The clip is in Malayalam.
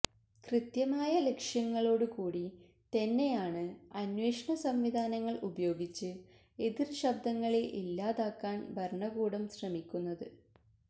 കൃത്യമായ ലക്ഷ്യങ്ങളോട് കൂടി തന്നെയാണ് അന്വേഷണ സംവിധാനങ്ങള് ഉപയോഗിച്ച് എതിര്ശബ്ദങ്ങളെ ഇല്ലാതാക്കാന് ഭരണകൂടം ശ്രമിക്കുന്നത്